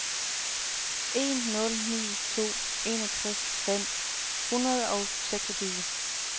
en nul ni to enogtres fem hundrede og seksogtyve